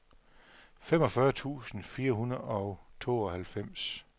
femogfyrre tusind fire hundrede og tooghalvfems